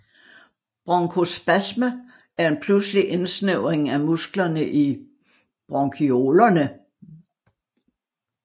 Bronkospasme er en pludselig indsnævring af musklerne i bronkiolerne